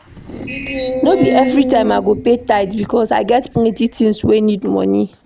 No be everytime I dey pay tithe because I get plenty tins wey need moni.